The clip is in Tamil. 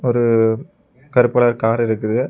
ஒரு கருப்பு கலர் கார் இருக்குது.